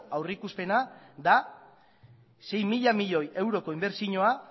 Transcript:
aurreikuspena da sei mila milioi euroko inbertsioa